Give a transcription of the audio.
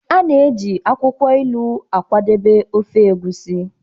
A na-eji akwukwo ilu akwadebe ofe egusi